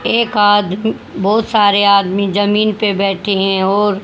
एक आद बहुत सारे आदमी जमीन पे बैठे हैं और--